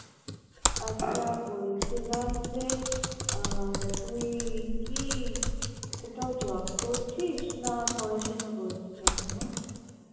আচ্ছা বলছিলাম যে, আহ তুই কি কোথাও job করছিস না পড়াশুনা করছিস এখনো?